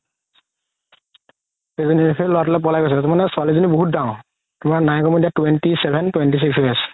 সেই ল'ৰাতো লে পলাই গৈছে তাৰমানে ছোৱালি জনি বহুত ডাঙৰ তুমাৰ নাই কমেও twenty seven twenty six চলি আছে